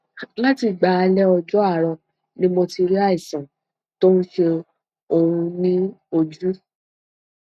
látìgbà alẹ ọjọ àárọ ni mo ti rí àìsàn tó ń ṣe òun ní ojú